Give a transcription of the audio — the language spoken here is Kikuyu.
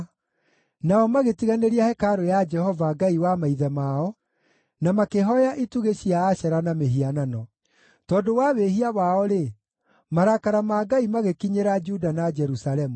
Nao magĩtiganĩria hekarũ ya Jehova, Ngai wa maithe mao, na makĩhooya itugĩ cia Ashera na mĩhianano. Tondũ wa wĩhia wao-rĩ, marakara ma Ngai magĩkinyĩra Juda na Jerusalemu.